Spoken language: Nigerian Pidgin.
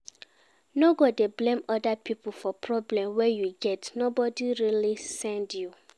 No go dey blame oda pipo for problem wey you get, nobody really send you